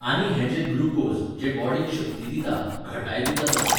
आनी हें जें ग्लुकोज, जें बॉडीक शक्ती दिता, घटाय दिता तसलें.